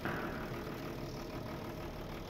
лучший эпизод максвэлл